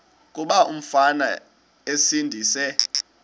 kuba umfana esindise